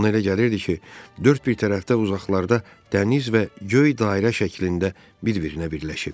Ona elə gəlirdi ki, dörd bir tərəfdə uzaqlarda dəniz və göy dairə şəklində bir-birinə birləşir.